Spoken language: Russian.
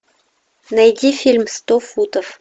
найди фильм сто футов